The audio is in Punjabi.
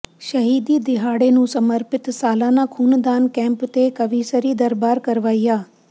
ਸ਼ਹੀਦੀ ਦਿਹਾੜੇ ਨੂੰ ਸਮਰਪਿਤ ਸਾਲਾਨਾ ਖ਼ੂਨਦਾਨ ਕੈਂਪ ਤੇ ਕਵੀਸ਼ਰੀ ਦਰਬਾਰ ਕਰਵਾਇਆ